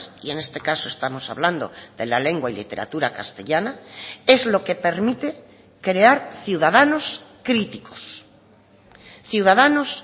y en este caso estamos hablando de la lengua y literatura castellana es lo que permite crear ciudadanos críticos ciudadanos